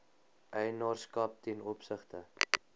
eienaarskap ten opsigte